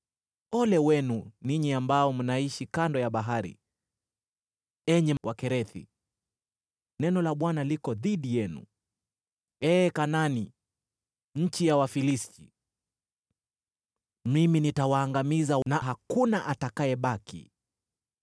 Ole wenu ninyi ambao mnaishi kando ya bahari, enyi Wakerethi; neno la Bwana liko dhidi yenu, ee Kanaani, nchi ya Wafilisti. “Mimi nitawaangamiza, na hakuna atakayebaki.”